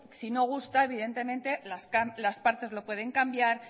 si no gusta evidentemente las partes lo pueden cambiar